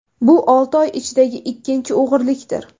Bu olti oy ichidagi ikkinchi o‘g‘rilikdir.